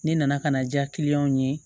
Ne nana ka na diya kiliyanw ye